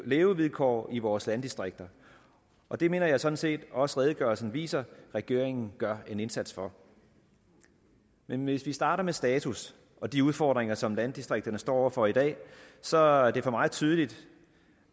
levevilkår i vores landdistrikter og det mener jeg sådan set også redegørelsen viser at regeringen gør en indsats for men hvis vi starter med status og de udfordringer som landdistrikterne står over for i dag så er det for mig tydeligt